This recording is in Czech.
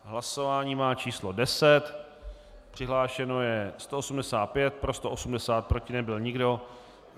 Hlasování má číslo 10, přihlášeno je 185, pro 180, proti nebyl nikdo.